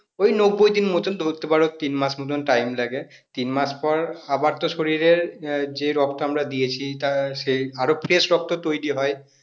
ওই নব্বই দিন মতোন ধরতে পারো তিন মাস মতোন time লাগে তিন মাস পর আবার তো শরীরের আহ যে রক্ত আমরা দিয়েছি তার সেই আরও fresh রক্ত তৈরি হয়